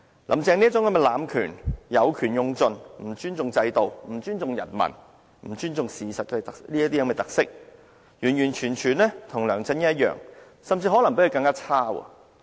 "林鄭"這種濫權，有權用盡、不尊重制度、不尊重人民、不尊重事實的特色，跟梁振英完全一樣，甚至可能比他更差。